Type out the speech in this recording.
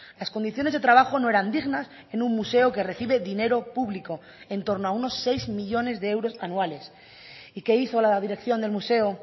las condiciones de trabajo no eran dignas en un museo que recibe dinero público entorno a unos seis millónes de euros anuales y qué hizo la dirección del museo